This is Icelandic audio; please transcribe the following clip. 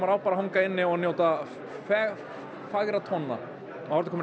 á bara að hanga inni og njóta góðra tóna